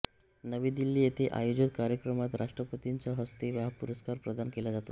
नवी दिल्ली येथे आयोजित कार्यक्रमात राष्ट्रपतींच्या हस्ते हा पुरस्कार प्रदान केला जातो